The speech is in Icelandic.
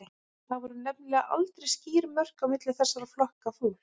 Það voru nefnilega aldrei skýr mörk á milli þessara flokka fólks.